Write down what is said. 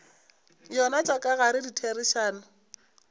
yona tša ka gare ditherišano